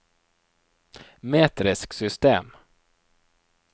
metrisk system